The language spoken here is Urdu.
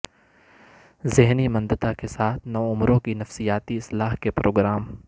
ذہنی مندتا کے ساتھ نوعمروں کی نفسیاتی اصلاح کے پروگرام